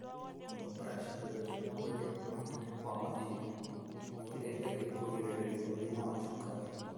Kũnogora cĩiga cia mwĩri mahinda kwa mahinda nĩguteithagia kũgĩrĩrĩria mũrimũ wa cukari.